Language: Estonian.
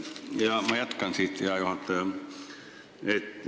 Ja ma jätkan siit, hea juhataja!